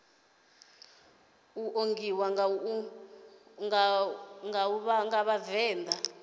ḓiṱongisa nga u vha vhavenḓa